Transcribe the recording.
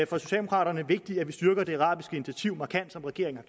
for socialdemokraterne vigtigt at vi styrker det arabiske initiativ markant som regeringen